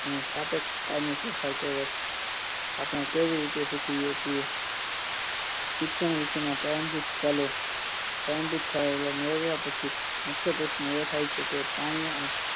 તેને સાપેક્ષ કાયમી ફેરફાર કહેવાય છે આપણે કેવી રીતે શીખીએ છે શિક્ષણ વિશેના પારંભિક ખ્યાલો પારંભિક ખ્યાલો મેળવ્યા પછી મુખ્ય પ્રશ્ન એ થાય છે કે પ્રાણી અને